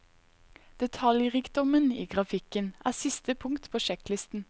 Detaljrikdommen i grafikken er siste punkt på sjekklisten.